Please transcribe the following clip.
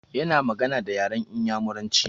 Ya na magana da yaran Inyamuranci